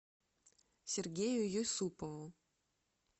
сергею юсупову